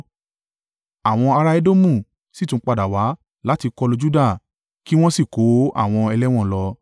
Àwọn ará Edomu sì tún padà wá láti kọlu Juda kí wọn sì kó àwọn ẹlẹ́wọ̀n lọ.